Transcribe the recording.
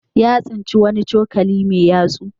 Ya tsinci wani cokali mai yatsu.